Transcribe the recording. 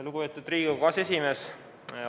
Lugupeetud Riigikogu aseesimees!